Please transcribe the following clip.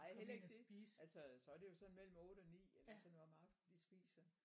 Nej heller ikke det altså så er det jo sådan mellem 8 og 9 eller sådan noget om aftenen de spiser